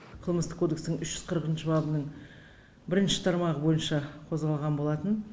қылмыстық кодекстің үш жүз қырқыншы бабының бірінші тармағы бойынша қозғалған болатын